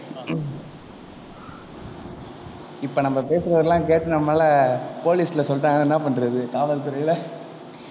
இப்ப நம்ம பேசுறதெல்லாம் கேட்டு நம்ம மேல police ல சொல்லிட்டாங்கன்னா என்ன பண்றது காவல் துறையில,